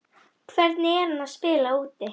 Hvernig er hún að spila úti?